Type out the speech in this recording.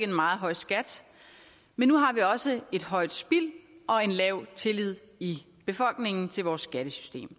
en meget høj skat men nu har vi også et højt spild og en lav tillid i befolkningen til vores skattesystem